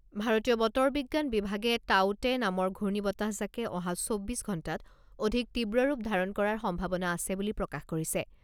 ভাৰতীয় বতৰ বিজ্ঞান বিভাগে টাউতে নামৰ ঘূৰ্ণীবতাহজাকে অহা চৌব্বিছ ঘণ্টাত অধিক তীব্ৰৰূপ ধাৰণ কৰাৰ সম্ভাৱনা আছে বুলি প্ৰকাশ কৰিছে।